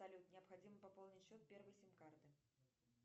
салют необходимо пополнить счет первой сим карты